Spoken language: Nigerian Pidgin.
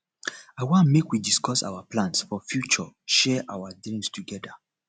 i wan make we discuss our plans for future share our dreams togeda